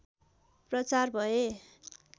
प्रचार भए